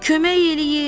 Kömək eləyin!